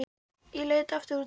Ég leit aftur út um gluggann.